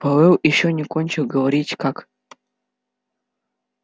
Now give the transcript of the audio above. пауэлл ещё не кончил говорить как